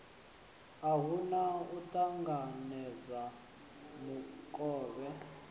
a hana u ṱanganedza mukovhe